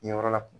Kɛ yɔrɔ la